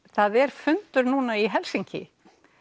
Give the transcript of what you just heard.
það er fundur í Helsinki